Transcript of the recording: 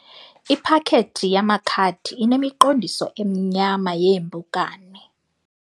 Iphakethi yamakhadi inemiqondiso emnyama yeempukane.